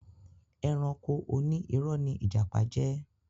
Ẹranko Oní iró ni ìjàpá jẹ́